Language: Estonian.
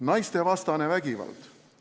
Naistevastane vägivald.